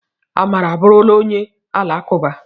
Amara abụrụla onye Alakụba